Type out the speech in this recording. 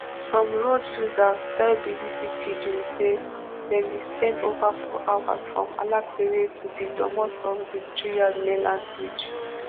some road users tell bbc pidgin say dem bin spend over four hours from alapere to di domot of di threerd mainland bridge